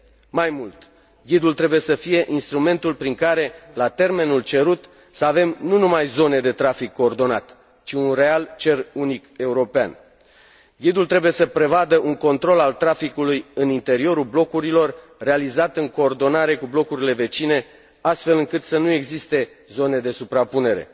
Mai mult, ghidul trebuie să fie instrumentul prin care, la termenul cerut, să avem nu numai zone de trafic coordonat, ci un real cer unic european. Ghidul trebuie să prevadă un control al traficului în interiorul blocurilor, realizat în coordonare cu blocurile vecine, astfel încât să nu existe zone de suprapunere.